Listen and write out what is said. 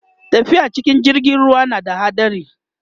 tafiya cikin jirgin ruwa na da haɗari